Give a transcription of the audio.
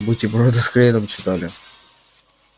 бутерброды с хреном что ли